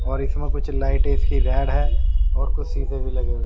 और इसमें कुछ लाइट इसकी रेड है और कुछ सीधे भी लगे हुए।